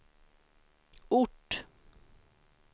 ort